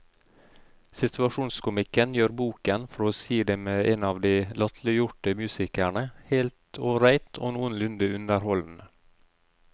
Situasjonskomikken gjør boken, for å si det med en av de latterliggjorte musikerne, helt ålreit og noenlunde underholdende.